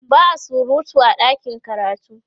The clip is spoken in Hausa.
ba'a surutu a ɗakin karatu